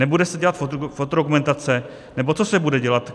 Nebude se dělat fotodokumentace, nebo co se bude dělat?